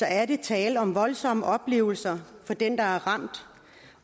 er der tale om voldsomme oplevelser for den der er ramt